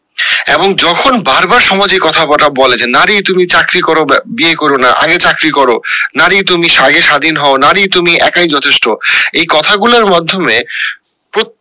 এবং যখন বার বার সমাজে কথা বলে যে নারী তুমি চাকরি করো বিয়ে করো না আগে চাকরি করো নারী তুমি স্বাধীন হো নারী তুমি একাই যথেষ্ট এই কথা গুলার মাধ্যমে